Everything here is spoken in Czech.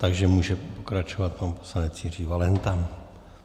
Takže může pokračovat pan poslanec Jiří Valenta.